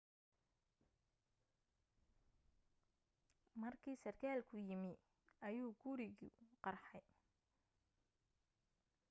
markii sarkaalku yimi ayuu gurigu qarxay